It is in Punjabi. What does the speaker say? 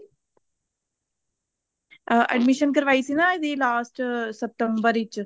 ਅਹ admission ਕਰਵਾਈ ਸੀ ਨਾ ਇਹਦੀ last September ਵਿੱਚ